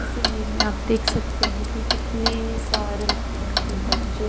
इस इमेज में आप देख सकते है की कितने सारे हिरन के बच्चे --